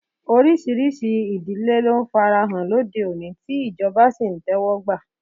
Oríṣiríṣi ìdílé ló ń farahàn lóde òní tí ìjọba sì ń tẹ́wọ́gbà.